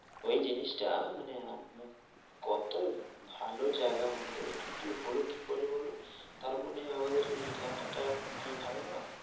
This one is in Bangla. ওই জিনিসটা, মানে মানে কত ভালো জায়গার মধ্যে চুরি হলো কি করে বলো, তার মানে আমাদের এই এলাকা টা কি ভালো নই?